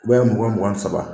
A dan ye mɔgɔ mugan ni saba.